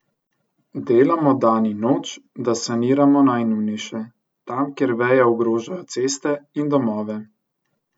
Delamo dan in noč, da saniramo najnujnejše, tam, kjer veje ogrožajo ceste in domove.